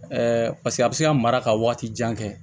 paseke a bɛ se ka mara ka waati jan kɛ